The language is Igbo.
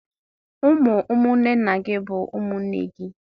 Ụmụ nwanne nna gị bụ ụmụnne gị